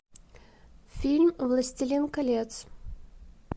фильм властелин колец